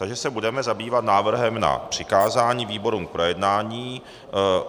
Takže se budeme zabývat návrhem na přikázání výborům k projednání.